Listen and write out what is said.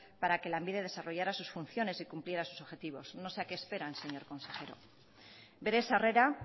para que lanbide desarrollara sus funciones y cumpliera sus objetivos no sé a qué esperan señor consejero bere sarrera